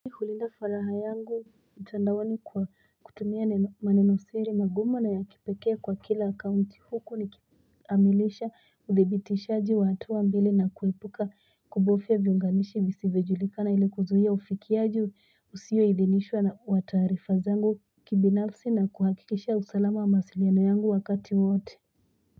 Hulinda faraha yangu utandawani kwa kutumia manenosiri magumo na ya kipekea kwa kila account huku ni amilisha Udebiti shaji watuwa mbele na kwepuka kubofia vionganishi misivejulika na ilikuzu ya ufikiaju usiwe idenishwa na watuarifa zangu kibinafsi na kuhakikesha usalama masilyanoyangu wakati wote.